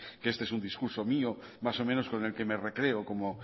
que este es un discurso mío más o menos con el que me recreo como